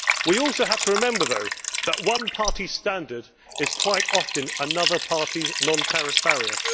We also have to remember though that one party's standard is quite often another party's non tariff barrier.